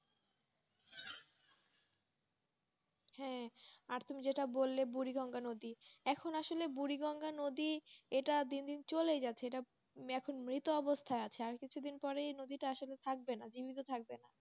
হ্যাঁ আর তুমি যেটা বললে বুড়িভাঙ্গা নদী এখন আসলে বুড়িভাঙ্গা নদী এটা দিন দিন চলে যাচ্ছে সেটা এখন মৃত অবস্থা আছে আর কিছু দিন পরে নদীতে থাকবে না জীবিত থাকবে